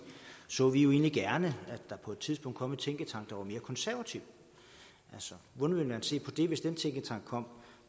så vi egentlig gerne at der på et tidspunkt kom en tænketank der var mere konservativ hvordan ville man se på det hvis den tænketank kom